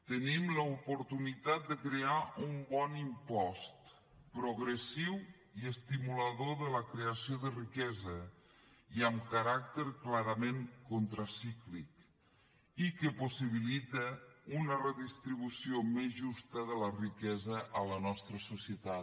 tenim l’oportunitat de crear un bon impost progressiu i estimulador de la creació de riquesa i amb caràcter clarament contracíclic i que possibilita una redistribució més justa de la riquesa a la nostra societat